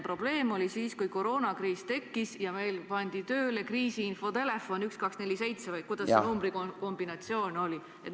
Probleem oli siis, kui koroonakriis tekkis ja meil pandi tööle kriisiinfotelefon 1247 või kuidas see numbrikombinatsioon oligi.